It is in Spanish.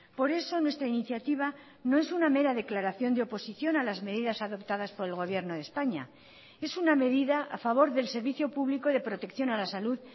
por eso nuestra iniciativa no es una mera declaración de oposición a las medidas adoptadas por el gobierno de españa es una medida a favor del servicio público de protección a la salud